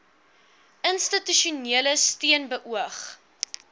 institusionele steun beoog